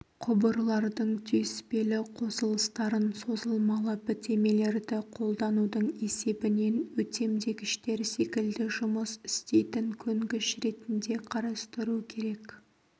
құбырлардың түйіспелі қосылыстарын созылмалы бітемелерді қолданудың есебінен өтемдегіштер секілді жұмыс істейтін көнгіш ретінде қарастыру керек